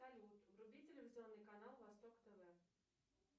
салют вруби телевизионный канал восток тв